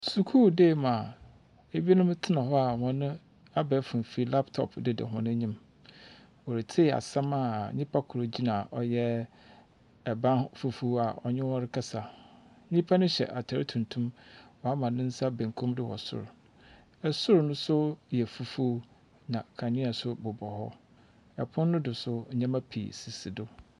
Skul dan mu a binom tena hɔ a hɔn abɛɛfo mfir laptop deda hɔn anyim. Wɔretsei asɛm a nyimpa kor gyina ban ho ɔyɛ fufuw a ɔnye hɔn rekasa. Nyimpa no hyɛ atar tuntum. Ɔamane nsa benkum do wɔ sor. Sor no nso yɛ fufuw, na kanea nso bobɔ hɔ. Pon no so nso ndzɛmba sisi hɔ.